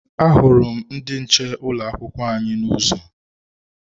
Ahụrụ m ndị nche ụlọ akwụkwọ anyị n'ụzọ.